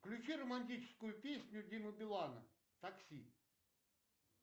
включи романтическую песню димы билана такси